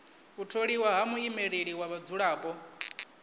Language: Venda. u tholiwa ha muimeleli wa vhadzulapo